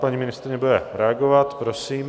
Paní ministryně bude reagovat, prosím.